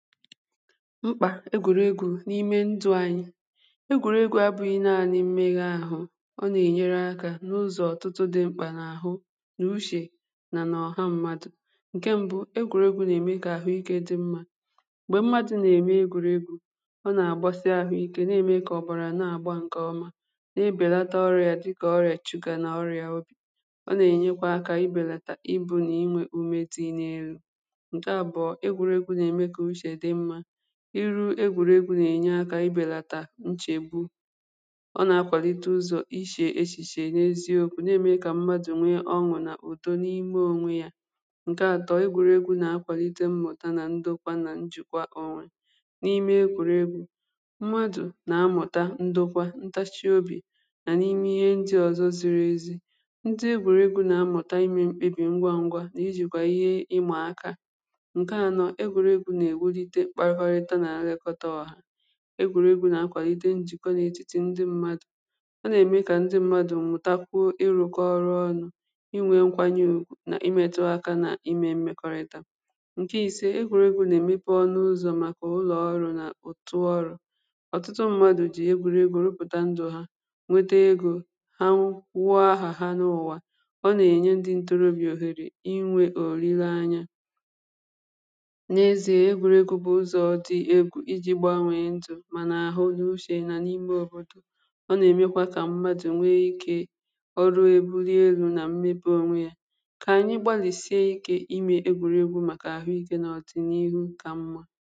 mkpà egwuregwu n’ime ndụ̇ anyị̇ egwuregwu abụghị naanị mmeghe ahụ̇ ọ nà-ènyere akȧ n’ụzọ̀ ọtụtụ dị mkpà n’àhụ nà uchè nà ọ̀ha mmadụ̀ ǹkè mbụ̇ egwuregwu nà-ème kà àhụ ikė dị mmȧ m̀gbè mmadụ̀ nà-ème egwuregwu ọ nà-àgbasị àhụ ikė na-ème kà ọ̀bọrà na-àgba ǹkè ọma na-ebèlata ọrịà dịkà ọrịà chịga nà ọrịà ọbì ọ nà-ènyekwa akȧ ibèlàtà ibu̇ nà inwė umetinė elu̇ iru egwuregwu na-enye aka ibelata nchegbu ọ na-akwàlite ụzọ̀ ishì echìshì enyezie okwu̇ na-eme ka mmadụ̀ nwee ọnwụ̇ na-udo n’ime ònwe ya ǹke atọ egwuregwu na-akwàlite mmụ̀ta na ndokwa na njìkwa onwe n’ime ekwuregwu mmadụ̀ na-amụ̀ta ndokwa ntachiobì nà n’ime ihe ndi ọ̀zọ ziri ezi ndi egwuregwu na-amụ̀ta imė mkpebì ngwa ngwa nà ijìkwà ihe ịmà aka egwùregwu̇ nà akwàlì ide njìkwọ n’ètìtì ndi mmadụ̀ ọ nà-ème kà ndi mmadụ̀ nwụ̀takwu ịrụ̇kọ ọrụ ọnụ̇ inwė nkwanye ògwù nà imėtu aka nà imė mmekọrịta ǹke ìse egwùregwu̇ nà-èmepù ọnụ ụzọ̇ màkà ụlọ̀ọrụ̇ nà òtùọrò ọtụtụ mmadụ̀ jì egwùregwu̇ rụpụ̀ta ndu̇ ha nwete egȯ ha nwụọ ahà ha n’ụ̀wa ọ nà-ènye ndi ntorobì òhèrè inwė òliri anya mànà àhụ ihe uchè nà n’ime ọrụ̇tụ̇ ọ nà-èmekwa kà mmadụ̀ nwee ikė ọrụ èbuli elu̇ nà mmebe onwe yȧ kà anyị gbàlìsie ikė imė egwùrì egwu màkà àhụ ikė n’ọ̀dị̀ n’ihu kà mmȧ